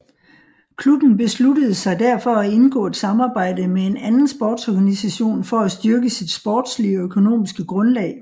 Klubben besluttede sig derfor at indgå et samarbejde med en anden sportsorganisation for at styrke sit sportslige og økonomiske grundlag